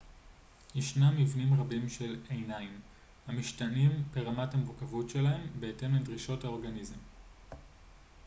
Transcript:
ישנם מבנים רבים של עיניים המשתנים ברמת המורכבות שלהם בהתאם לדרישות האורגניזם